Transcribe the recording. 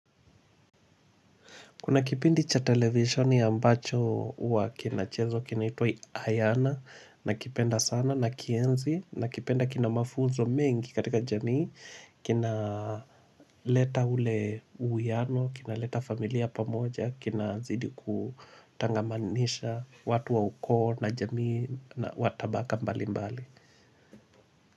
Kuna kipindi cha televisheni ambacho huwa kinachezwa, kinaitwa "Ayana", nakipenda sana, nakienzi, nakipenda kina mafunzo mengi katika jamii, kina leta ule uwiano, kinaleta familia pamoja, kinazidi kutangamisha watu wa ukoo na jamii na wa tabaka mbali mbali.